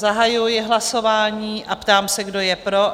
Zahajuji hlasování a ptám se, kdo je pro?